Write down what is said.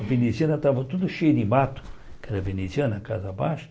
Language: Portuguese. A veneziana estava toda cheia de mato, que era veneziana, casa baixa.